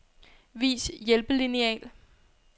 Vis hjælpelineal.